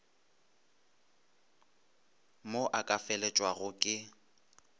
mo a ka felelwago ke